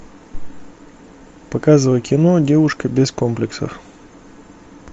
показывай кино девушка без комплексов